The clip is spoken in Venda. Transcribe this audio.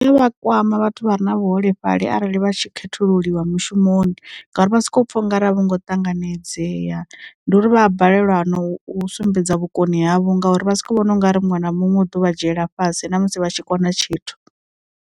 U ya vha kwama vhathu vha re na vhuholefhali arali vha tshi khethululiwa mushumoni ngauri vha soko pfha ungari a vho ngo ṱanganedzea ndi uri vha a balelwa na u sumbedza vhukoni havho ngauri vha si ko vhona ungari muṅwe na muṅwe u ḓuvha dzhiela fhasi na musi vha tshi kona tshithu.